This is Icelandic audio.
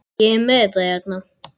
Ég er með þetta hérna.